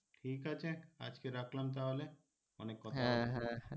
ঠিক আছে আজকে রাখলাম তাহলে অনেক কথাই হল